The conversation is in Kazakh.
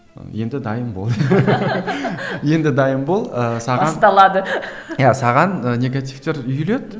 енді дайын бол енді дайын бол ыыы саған басталады саған негативтер үйіледі